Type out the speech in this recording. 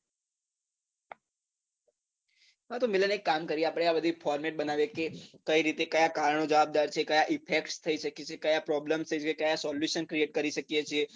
હા તો મિલન એક કામ કરીએ આપણે આ બધી format બનાવીએ કે કઈ રીતે કયા કારણો જવાબદાર છે કયા effect થઇ શકે છે કયા problem કયા solution create કરી શકીએ છીએ